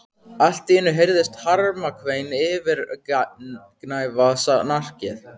Allt í einu heyrðist harmakvein yfirgnæfa snarkið.